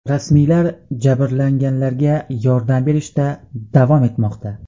Rasmiylar jabrlanganlarga yordam berishda davom etmoqda.